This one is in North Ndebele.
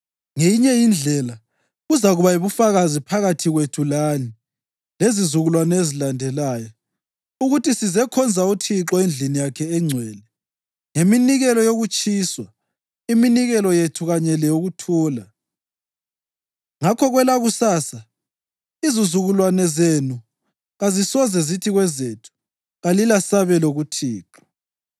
Ngeyinye indlela, kuzakuba yibufakazi phakathi kwethu lani lezizukulwane ezizalandela, ukuthi sizekhonza uThixo endlini yakhe engcwele ngeminikelo yokutshiswa, iminikelo yethu kanye leyokuthula. Ngakho kwelakusasa izizukulwane zenu kazisoze zithi kwezethu, ‘Kalilasabelo kuThixo.’